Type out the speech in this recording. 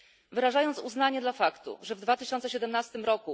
Wyrażając uznanie dla faktu, że w 2017 r.